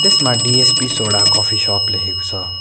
यसमा DSP soda coffee shop लेखेको छ।